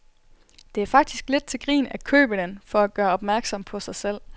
Det er faktisk lidt til grin at købe den for at gøre opmærksom på sig selv.